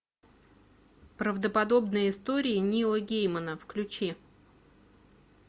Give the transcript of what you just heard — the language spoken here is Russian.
правдоподобные истории нила геймана включи